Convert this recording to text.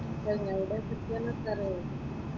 എവിടെയാ കിട്ടിയെന്നൊക്കെ അറിയുവോ?